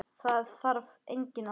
Það þarf engin orð.